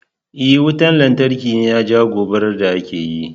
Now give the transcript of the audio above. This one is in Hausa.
E, wutan lantarki ne ya jawo gobarar da aka yi.